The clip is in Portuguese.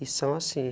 E são assim.